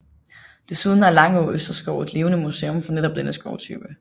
Desuden er Langå Østerskov et levende museum for netop denne skovtype